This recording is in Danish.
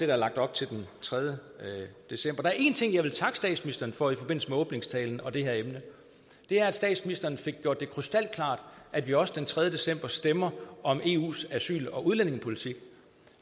er lagt op til den tredje december der er én ting jeg vil takke statsministeren for i forbindelse med åbningstalen og det her emne det er at statsministeren fik gjort det krystalklart at vi også den tredje december stemmer om eus asyl og udlændingepolitik